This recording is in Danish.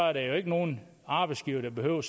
er der jo ikke nogen arbejdsgivere der behøver